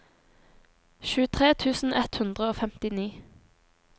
tjuetre tusen ett hundre og femtini